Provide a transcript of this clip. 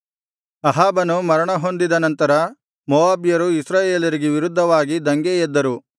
ಅಹಾಬನು ಮರಣಹೊಂದಿದ ನಂತರ ಮೋವಾಬ್ಯರು ಇಸ್ರಾಯೇಲರಿಗೆ ವಿರುದ್ಧವಾಗಿ ದಂಗೆ ಎದ್ದರು